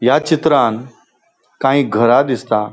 या चित्रान काई घरा दिसता.